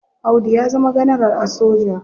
Audu ya zama ganaral a soja.